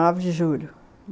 nove de Julho.